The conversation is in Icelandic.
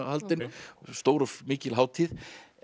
haldin stór og mikil hátíð